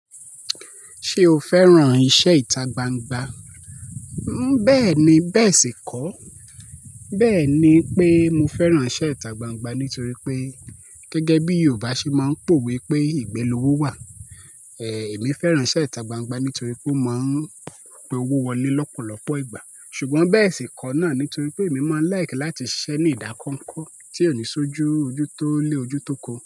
Ṣé o fẹ́ràn iṣẹ́ ìta gbangba? Bẹ́ẹ̀ni, bẹ́ẹ̀ sì kọ́. Bẹ́ẹ̀ ni pé mo fẹ́ràn iṣẹ́ ìta gbangba nítorí pé gẹ́gẹ́ bí Yorùbá ṣe máa ń pòwe wípé "ìgbé lowó wà", Èmi fẹ́ràn iṣẹ́ ìta gbangba nítorí pé ó máa ń pé owó wọlé lọ́pọ̀lọpọ̀ ìgbà. Ṣùgbọ́n bẹ́ẹ̀ sì kọ́ náà nítorí pé èmi máa ń laiki láti ṣiṣẹ́ nínú ìdá kọnkọ tí ò ní sójú ojú tó lé ojú tóko.